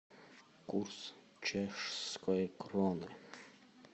курс чешской кроны